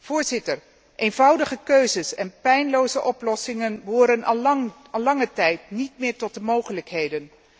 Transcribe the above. Voorzitter, eenvoudige keuzes en pijnloze oplossingen behoren al lange tijd niet meer tot de mogelijkheden.